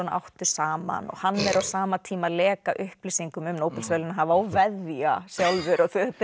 áttu saman og hann er á sama tíma að leka upplýsingum um Nóbelsverðlaunahafa og veðja sjálfur